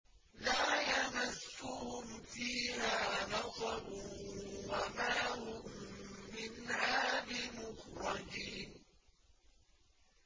لَا يَمَسُّهُمْ فِيهَا نَصَبٌ وَمَا هُم مِّنْهَا بِمُخْرَجِينَ